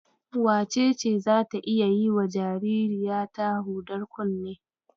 Wacece zata iya yiwa jaririyata hudar kunne?